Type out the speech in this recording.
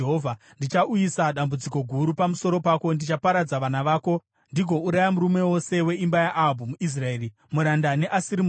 ‘Ndichauyisa dambudziko guru pamusoro pako. Ndichaparadza vana vako ndigouraya murume wose weimba yaAhabhu muIsraeri, muranda neasiri muranda.